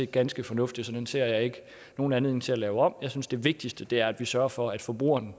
ganske fornuftig så den ser jeg ikke nogen anledning til at lave om jeg synes det vigtigste er at vi sørger for at forbrugerne